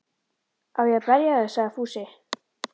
Á ég að berja þig? sagði Fúsi og